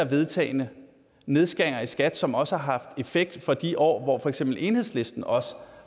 vedtagne nedskæringer i skat som også har haft effekt for de år hvor for eksempel enhedslisten også